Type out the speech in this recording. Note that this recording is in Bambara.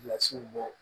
Kilasiw bɔ